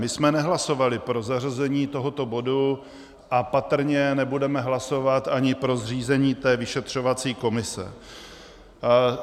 My jsme nehlasovali pro zařazení tohoto bodu a patrně nebudeme hlasovat ani pro zřízení té vyšetřovací komise.